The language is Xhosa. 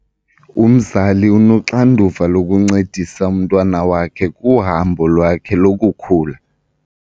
Umzali unoxanduva lokuncedisa umntwana wakhe kuhambo lwakhe lokukhula.